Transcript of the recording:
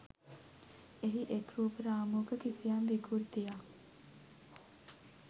එහි එක් රූප රාමුවක කිසියම් විකෘතියක්